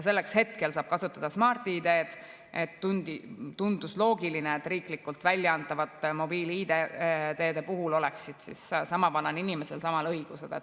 Selleks saab hetkel kasutada Smart‑ID‑d, ning tundus loogiline, et riiklikult väljaantavate mobiil‑ID‑de puhul oleksid sama vanal inimesel samad õigused.